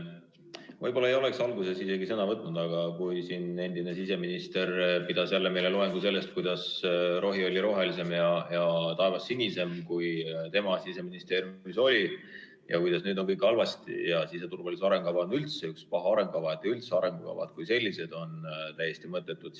Võib-olla ma ei oleks isegi sõna võtnud, aga endine siseminister pidas meile loengu sellest, kuidas rohi oli rohelisem ja taevas sinisem, siis kui tema Siseministeeriumis oli, ja kuidas nüüd on kõik halvasti ja siseturvalisuse arengukava on üldse üks paha arengukava ning arengukavad kui sellised on täiesti mõttetud.